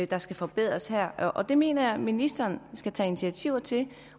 der skal forbedres her og det mener jeg at ministeren skal tage initiativer til